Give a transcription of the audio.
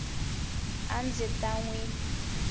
a ndzi ta n wi